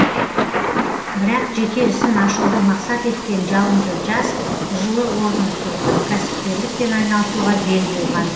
бірақ жеке ісін ашуды мақсат еткен жалынды жас жылы орнын суытып кәсіпкерлікпен айналысуға бел буған